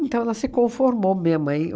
Então, ela se conformou mesmo, aí o